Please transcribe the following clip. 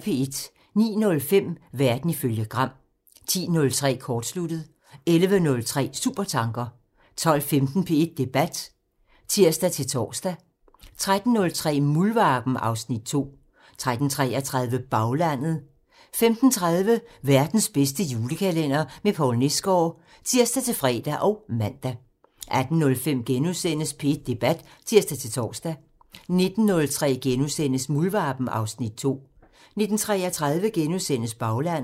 09:05: Verden ifølge Gram (tir) 10:03: Kortsluttet (tir) 11:03: Supertanker (tir) 12:15: P1 Debat (tir-tor) 13:03: Muldvarpen (Afs. 2) 13:33: Baglandet (tir) 15:30: Verdens bedste julekalender med Poul Nesgaard (tir-fre og man) 18:05: P1 Debat *(tir-tor) 19:03: Muldvarpen (Afs. 2)* 19:33: Baglandet *(tir)